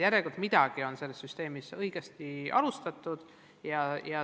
Järelikult on midagi selles süsteemis õigesti käivitatud.